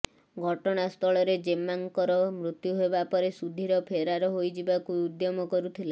ଘଟଣାସ୍ଥଳରେ ଜେମ୍ମାଙ୍କର ମୃତ୍ୟୁ ହେବାପରେ ସୁଧୀର ଫେରାର ହୋଇଯିବାକୁ ଉଦ୍ୟମ କରୁଥିଲା